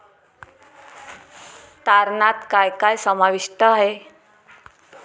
तारणात काय काय समाविष्ट आहे?